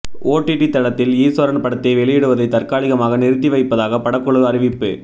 OTT தளத்தில் ஈஸ்வரன் படத்தை வெளியிடுவதை தற்காலிகமாக நிறுத்திவைப்பதாக படக்குழு அறிவிப்பு